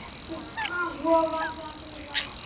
Svo var það fyrir átta.